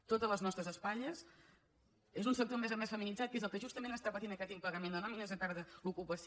tot a les nostres espatlles és un sector a més a més feminitzat que és el que justament està patint aquest impagament de nòmines o perd l’ocupació